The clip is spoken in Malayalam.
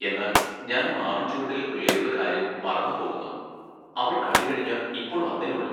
എന്നാൽ ഞാൻ മാവിൻചുവട്ടിലെ പിള്ളേരുടെ കാര്യം മറന്നു പോകുന്നു അവർ കളി കഴിഞ്ഞ ഇപ്പൊൾ വന്നെയുള്ളു.